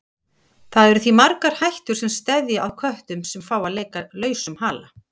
Það eru því margar hættur sem steðja að köttum sem fá að leika lausum hala.